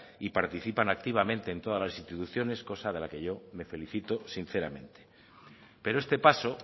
y participan activamente en todas las instituciones cosa de la que yo me felicito sinceramente pero este paso